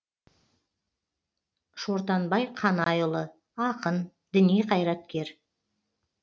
шортанбай қанайұлы ақын діни қайраткер